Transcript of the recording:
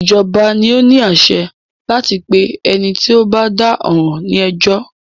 Ìjọba ni o ní àṣẹ láti pé ẹni tí o bá dá ọ̀ràn ní ẹjọ́.